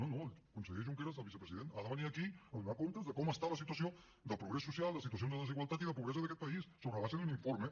no no el conseller junqueras el vicepresident ha de venir aquí a donar comptes de com està la situació de progrés social de situacions de desigualtat i de pobresa d’aquest país sobre la base d’un informe